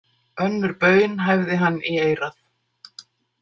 Önnur baun hæfði hann í eyrað.